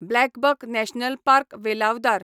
BlackBuck national park, Velavadar